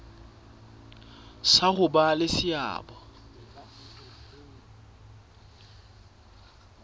sa ho ba le seabo